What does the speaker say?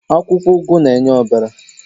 Akwukwo ugu n'enye obara